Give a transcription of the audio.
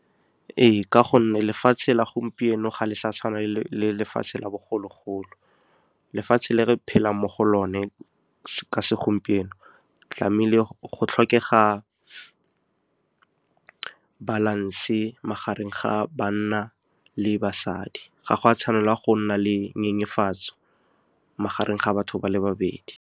Ee, ka gonne lefatshe la gompieno ga le sa tshwana le lefatshe la bogologolo. Lefatshe le re phelang mo go lone ka segompieno, go tlhokega balance-e magareng ga banna le basadi. Ga go a tshwanela go nna le nyenyefatswa magareng ga batho ba le babedi.